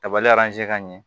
Kabali ka ɲɛ